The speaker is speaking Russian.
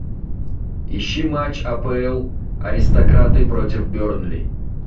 ищи матч апл аристократы против бернли